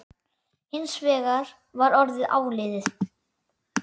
Hins vegar var orðið áliðið.